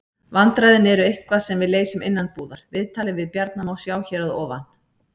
Vandræðin eru eitthvað sem við leysum innanbúðar. Viðtalið við Bjarna má sjá hér að ofan.